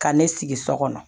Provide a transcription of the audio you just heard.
Ka ne sigi so kɔnɔ